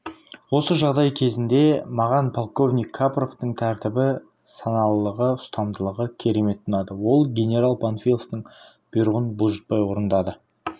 осы жағдай кезінде маған полковник капровтың тәртібі саналылығы ұстамдылығы керемет ұнады ол генерал панфиловтың бұйрығын бұлжытпай орындады